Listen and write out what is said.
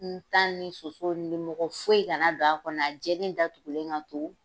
N tan ni soso nimɔgɔ foyi kana don a kɔnɔ a jɛlen datugulen ka to.